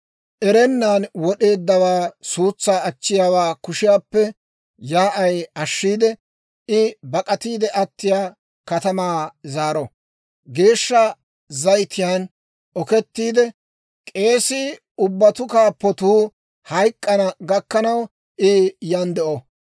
Erennan wod'eeddawaa suutsaa achchiyaawaa kushiyaappe yaa'ay ashshiide, I bak'atiide attiyaa katamaa zaaro. Geeshsha zayitiyaan okettiide, K'eesii ubbatuu kaappuu hayk'k'ana gakkanaw, I yan de'o.